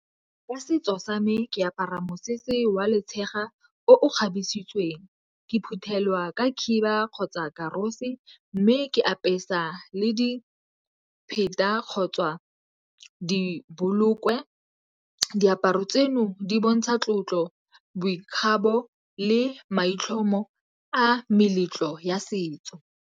Ka setso sa me ke apara mosese wa letshega o kgabesitsweng. Ke phuthelwa ka khiba kgotsa karosi mme ke apesa le dipheta kgotsa di bolokwe. Diaparo tseno di bontsha tlotlo, boikgapo le maitlhomo a meletlo ya setso.